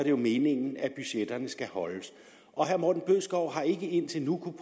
jo meningen at budgetterne skal holdes herre morten bødskov har indtil nu